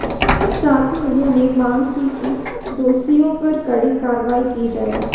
साथ ही उन्होंने मांग की कि दोषियों पर कड़ी कार्रवाई की जाए